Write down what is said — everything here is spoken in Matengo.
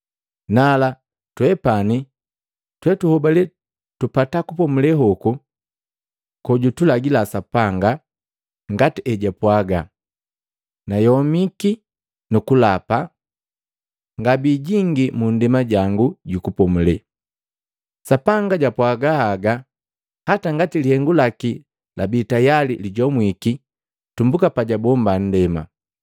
Nala twepani twetuhobali tupata kupomule hoku kojutulagila Sapanga. Ngati hejwapwaga, “Nayomiki nukulapa: ‘Ngabijingi mu nndema jangu ju kupomule.’ ” Sapanga japwaga haga hata ngati lihengu laki labii tayali lijomwiki tumbuka pajabomba nndema.